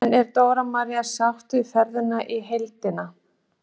En er Dóra María sátt við ferðina í heildina?